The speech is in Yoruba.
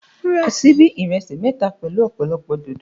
Mo ra síbí mẹ́ta ìrẹsì pẹ̀lú ọ̀pọ̀lọpọ̀ dòdò.